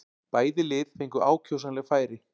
Bæði lið fengu ákjósanleg færi.